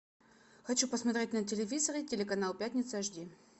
хочу посмотреть на телевизоре телеканал пятница эйч ди